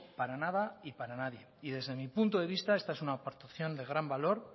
para nada y para nadie y desde mi punto de vista esta es una aportación de gran valor